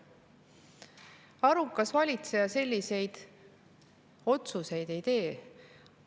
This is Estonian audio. Arukas valitseja selliseid otsuseid ei tee.